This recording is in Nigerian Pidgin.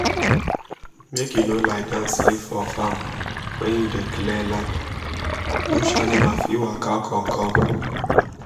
make you no lie down sleep for farm when you dey clear land bush animal fit waka come come